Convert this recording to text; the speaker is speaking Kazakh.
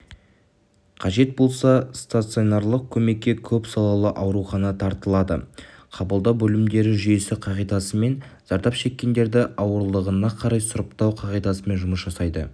қажет болса стационарлық көмекке көпсалалы аурухана тартылады қабылдау бөлімдері жүйесі қағидасымен зардап шеккендерді ауырлығына қарай сұрыптау қағидасымен жұмыс жасайды